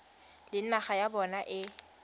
le naga ya bona e